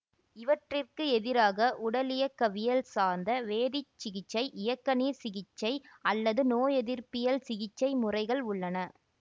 இவற்றிற்கு எதிராக உடலியக்கவியல் சார்ந்த வேதிச்சிகிச்சை இயக்கநீர் சீர்சிகிச்சை அல்லது நோயெதிர்ப்பியல் சிக்கிச்சை முறைகள் உள்ளன